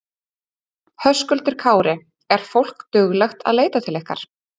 Höskuldur Kári: Er fólk duglegt að leita til ykkar?